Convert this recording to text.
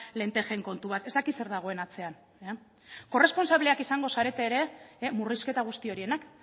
lentejen kontu bat ez dakit zer dagoen atzean korresponsableak izango zarete ere murrizketa guzti horienak